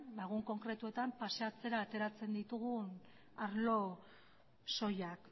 egun konkretuetan paseatzera ateratzen ditugun arlo soilak